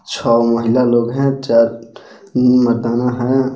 छह महिला लोग हैं चार मर्दाना हैं.